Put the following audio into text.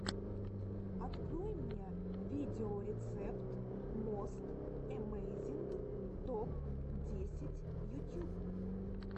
открой мне видеорецепт мост эмейзинг топ десять ютьюб